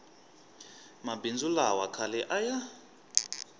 mabindzu lawa khale a ya